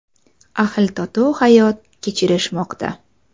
Ahil-totuv hayot kechirishmoqda.